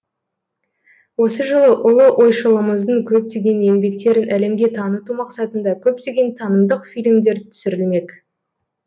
осы жылы ұлы ойшылымыздың көптеген еңбектерін әлемге таныту мақсатында көптеген танымдық фильмдер түсірілмек